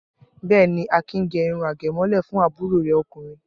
Bẹ́ẹ̀ ni, Akin gẹ irun àgẹ̀mọ́lẹ̀ fún àbúrò rẹ̀ ọkùnrin.